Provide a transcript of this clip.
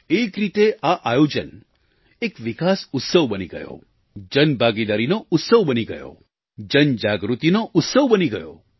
એક રીતે આ આયોજન એક વિકાસ ઉત્સવ બની ગયો જનભાગીદારીનો ઉત્સવ બની ગયો જનજાગૃતિનો ઉત્સવ બની ગયો